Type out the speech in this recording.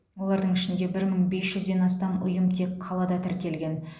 олардың ішінде бір мың бес жүзден астам ұйым тек қалада тіркелген